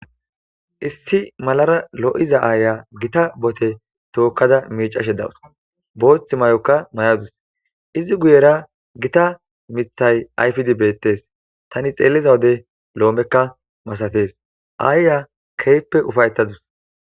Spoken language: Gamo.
Issi malara loyiza aya issi leheza tokada mecashe dawusi botha mayo mayasu izi guyerakka mithayi ayfidi bettesi ta xelidda wode lome massatesi